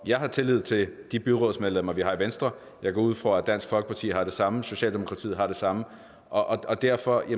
jeg har tillid til de byrådsmedlemmer vi har i venstre jeg går ud fra at dansk folkeparti har det samme og socialdemokratiet har det samme og derfor